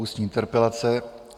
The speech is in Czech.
Ústní interpelace